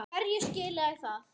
Hverju skilaði það?